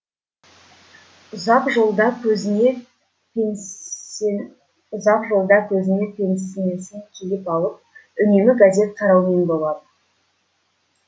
ұзақ жолда көзіне ұзақ жолда көзіне пенснесін киіп алып үнемі газет қараумен болады